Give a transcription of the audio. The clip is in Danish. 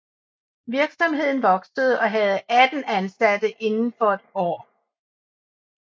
Virksomheden voksede og havde 18 ansatte indenfor et år